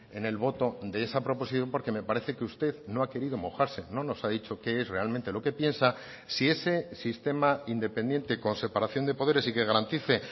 en el voto de esa proposición porque me parece que usted no ha querido mojarse no nos ha dicho qué es realmente lo que piensa si ese sistema independiente con separación de poderes y que garantice